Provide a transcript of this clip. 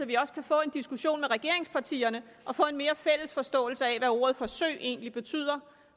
vi også kan få en diskussion med regeringspartierne og få en mere fælles forståelse af hvad ordet forsøg egentlig betyder